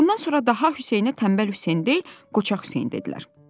Bundan sonra daha Hüseynə tənbəl Hüseyn deyil, qoçaq Hüseyn dedilər.